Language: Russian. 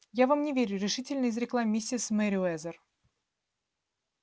я вам не верю решительно изрекла миссис мерриуэзер